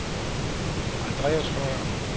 Andreas Høyer